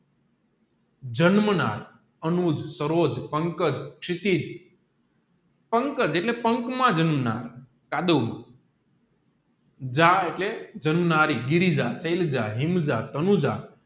જન્મનાર અનુજ સરોજ પંકજ સીટીજ પંકજ એટલે પાંખ માં જન્મનાર જા એટલે જાણનારી ગિરિજા શેલજા હીમજ તનૂજા